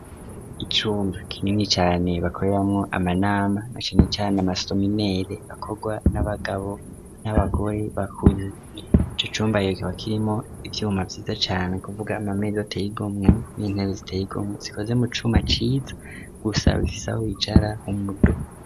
icumba kinini cyane bakoreramo amanama na kinini cyane amastominele akorwa n'abagabo n'abagore bakuze icyo cumba iyokoba kirimo ibyuma byiza cyane kuvuga amamezo teyigomwe n'intebe ziteyigomwe zikoze mo cuma ciza gusa bifisaho icara humudo